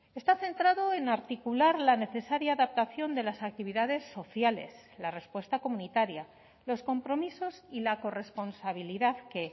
está centrado en articular la necesaria adaptación de las actividades sociales la respuesta comunitaria los compromisos y la corresponsabilidad que